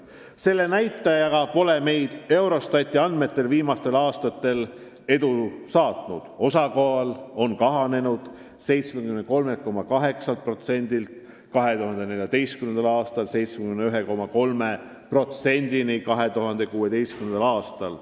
Selle näitaja osas pole meid Eurostati andmetel viimastel aastatel edu saatnud: see on kahanenud 73,8%-lt 2014. aastal 71,3%-le 2016. aastal.